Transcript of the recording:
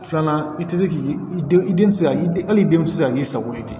Filanan i tɛ se k'i i den i den ti se ka hali den ti se ka k'i sago ye ten